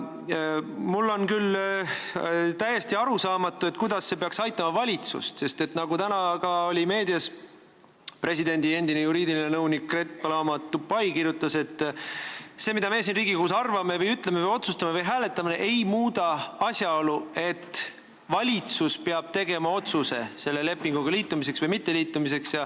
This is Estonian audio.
Mulle on küll täiesti arusaamatu, kuidas see peaks valitsust aitama, sest nagu täna ka meedias presidendi endine õigusnõunik Paloma Krõõt Tupay kirjutas, et see, mida meie siin Riigikogus arvame või ütleme või otsustame või hääletame, ei muuda asjaolu, et valitsus peab tegema otsuse, kas selle lepinguga liituda või mitte liituda.